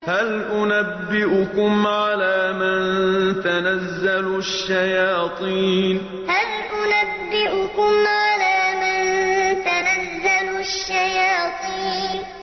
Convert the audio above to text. هَلْ أُنَبِّئُكُمْ عَلَىٰ مَن تَنَزَّلُ الشَّيَاطِينُ هَلْ أُنَبِّئُكُمْ عَلَىٰ مَن تَنَزَّلُ الشَّيَاطِينُ